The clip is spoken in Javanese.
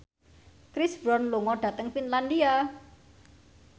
Chris Brown lunga dhateng Finlandia